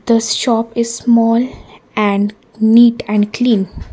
this shop is small and neat and clean.